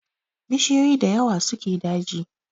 Bishiyoyi da yawa suke daji